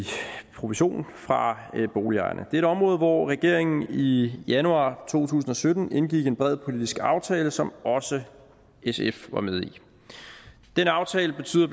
provision fra boligejerne det er et område hvor regeringen i januar to tusind og sytten indgik en bred politisk aftale som også sf var med i den aftale betyder